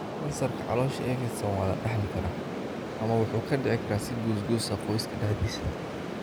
Kansarka caloosha ee fidsan waa la dhaxli karaa ama wuxuu ku dhici karaa si goos goos ah qoyska dhexdiisa.